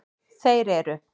Þeir eru: